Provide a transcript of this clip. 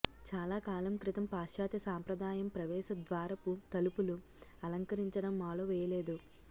చాలాకాలం క్రితం పాశ్చాత్య సాంప్రదాయం ప్రవేశద్వారపు తలుపులు అలంకరించడం మాలో వేయలేదు